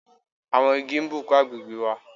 Àwọn Igi n bùkún agbègbè wà